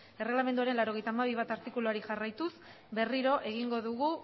erregelamenduaren laurogeita hamabi puntu bat artikuluari jarraituz berriro egingo dugu